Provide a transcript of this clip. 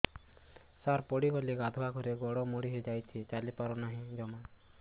ସାର ପଡ଼ିଗଲି ଗାଧୁଆଘରେ ଗୋଡ ମୋଡି ହେଇଯାଇଛି ଚାଲିପାରୁ ନାହିଁ ଜମା